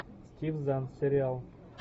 стив зан сериал